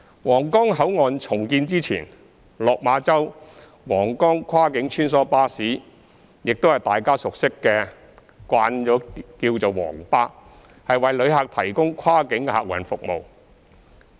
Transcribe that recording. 皇崗口岸重建前，落馬洲—皇崗跨境穿梭巴士，即大家所熟悉的"皇巴"，為旅客提供跨境客運服務。